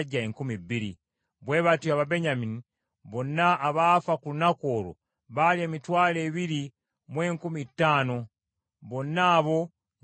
Bwe batyo Ababenyamini bonna abaafa ku lunaku olwo, baali emitwalo ebiri mu enkumi ttaano, bonna abo nga basajja bazira.